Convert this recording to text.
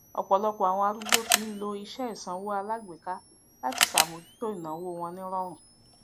ọpọlọpọ àwon arúgbó ti ń lo iṣẹ ìsanwó alágbéka láti sàmójútó ìnàwó wọn nírọrùn